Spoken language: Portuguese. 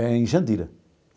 Em Jandira.